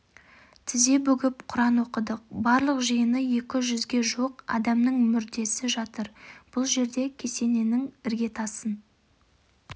тізе бүгіп құран оқыдық барлық жиыны екі жүзге жуық адамның мүрдесі жатыр бұл жерде кесененің іргетасын